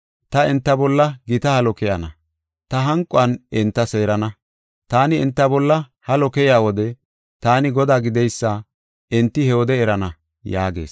Ta enta bolla gita halo keyana; ta hanquwan enta seerana. Taani enta bolla halo keyiya wode, taani Godaa gideysa enti he wode erana” yaagees.